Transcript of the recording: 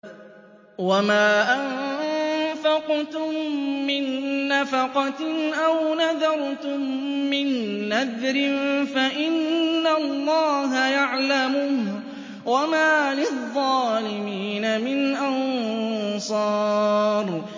وَمَا أَنفَقْتُم مِّن نَّفَقَةٍ أَوْ نَذَرْتُم مِّن نَّذْرٍ فَإِنَّ اللَّهَ يَعْلَمُهُ ۗ وَمَا لِلظَّالِمِينَ مِنْ أَنصَارٍ